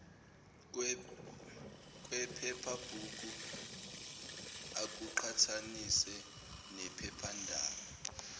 kwephephabhuku akuqhathanise nephephandaba